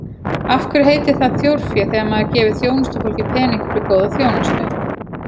Af hverju heitir það þjórfé þegar maður gefur þjónustufólki pening fyrir góða þjónustu?